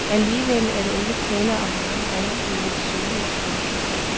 Alligevel er der ikke tale om noget rendyrket soloudspil.